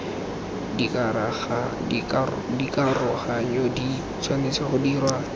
dikaroganyo di tshwanetse go dirwa